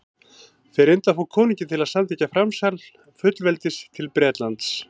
þeir reyndu að fá konunginn til að samþykkja framsal fullveldis til bretlands